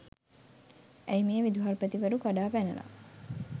ඇයි මේ විදුහල්පතිවරු කඩාපැනල